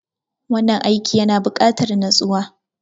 Wannan aiki yana bukatar natsuwa.